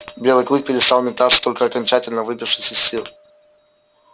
белый клык перестал метаться только окончательно выбившись из сил